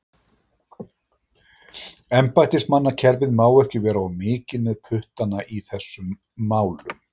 Embættismannakerfið má ekki vera of mikið með puttana í þessum málum.